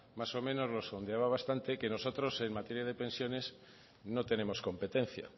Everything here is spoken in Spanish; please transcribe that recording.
más o menos lo sondeaba bastante que nosotros en materia de pensiones no tenemos competencia